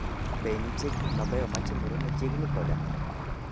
Be nitie gik mabeyo matimore machiegni koda?